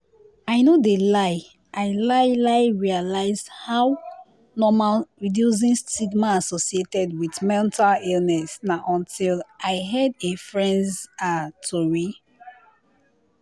i no de lie i lai lai realized how normal reducing stigma associated wit mental illness na until i heard a fren's ah tori